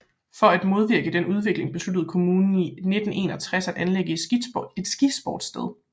For at modvirke den udvikling besluttede kommunen i 1961 at anlægge et skisportssted